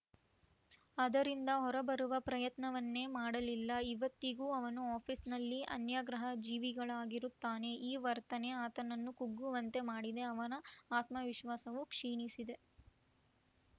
ಅದರಿಂದ ಹೊರಬರುವ ಪ್ರಯತ್ನವನ್ನೇ ಮಾಡಲಿಲ್ಲ ಇವತ್ತಿಗೂ ಅವನು ಆಫೀಸ್‌ನಲ್ಲಿ ಅನ್ಯಗ್ರಹ ಜೀವಿಗಳ ಹಾಗಿರುತ್ತಾನೆ ಈ ವರ್ತನೆ ಆತನನ್ನು ಕುಗ್ಗುವಂತೆ ಮಾಡಿದೆ ಅವನ ಆತ್ಮವಿಶ್ವಾಸವೂ ಕ್ಷೀಣಿಸಿದೆ